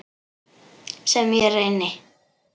Sem ég reyni.